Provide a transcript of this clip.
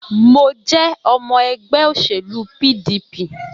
Mo jẹ́ ọmọ ẹgbẹ òṣèlú PDP